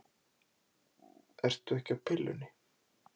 Ertu ekki á pillunni?